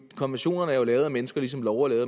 konventionerne er jo lavet af mennesker ligesom love er